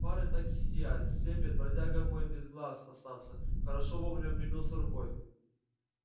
фары так и сияют слепят бродяга мой без глаз остаться хорошо вовремя прикрылся рукой